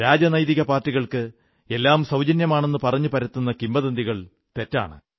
രാജനൈതിക പാർട്ടികൾക്ക് എല്ലാം സൌജന്യമാണെന്നു പറഞ്ഞു പരത്തുന്ന കിംവദന്തികൾ തെറ്റാണ്